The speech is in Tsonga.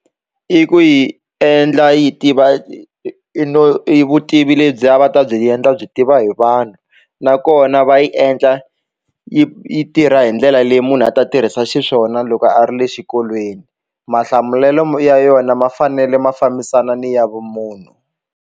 I ku yi endla yi tiva i vutivi lebyi a va ta byi endla byi tiva hi vanhu nakona va yi endla yi yi tirha hi ndlela leyi munhu a ta tirhisa xiswona loko a ri le xikolweni mahlamulelo yona ma fanele ma fambisana ni ya vumunhu.